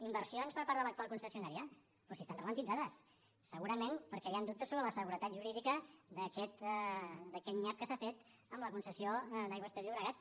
inversions per part de l’actual concessionària però si estan alentides segurament perquè hi han dubtes sobre la seguretat jurídica d’aquest nyap que s’ha fet amb la concessió d’aigües ter llobregat